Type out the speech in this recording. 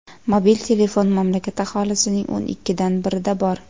Mobil telefon mamlakat aholisining o‘n ikkidan birida bor.